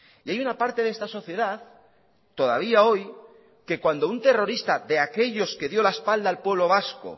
y hay una parte de esta sociedad todavía hoy que cuando un terrorista de aquellos quedio la espalda al pueblo vasco